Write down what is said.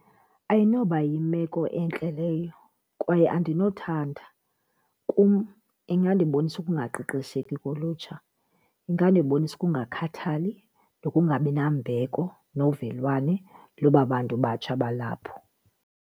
Ayinoba yimeko entle leyo kwaye andinothanda, kum ingandibonisa ukungaqeqesheki kolutsha, ingadibonisa ukungakhathali nokungabinambeko novelwane loba bantu batsha balapho.